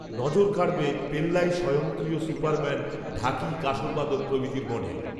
নজর কাড়বে, পেল্লাই স্বয়ংক্রিয় সুপারম্যান, ঢাকি, কাঁসরবাদক, প্রভৃতির মডেল